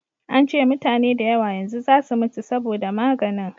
an ce mutane da yawa yanzu za su mutu saboda maganin